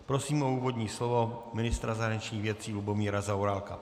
Prosím o úvodní slovo ministra zahraničních věcí Lubomíra Zaorálka.